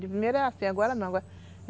De primeira era assim, agora não.